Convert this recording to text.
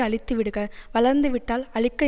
அழித்து விடுக வளர்ந்து விட்டால் அழிக்க